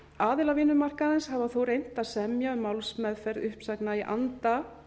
aðilar vinnumarkaðarins hafa þó reynt að semja um málsmeðferð uppsagna í anda